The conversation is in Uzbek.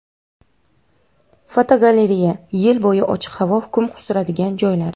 Fotogalereya: Yil bo‘yi ochiq havo hukm suradigan joylar.